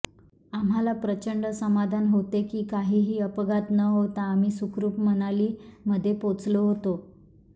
आम्हाला प्रचंड समाधान होते की काहीही अपघात न होता आम्ही सुखरुप मनाली मध्ये पोचलो होतो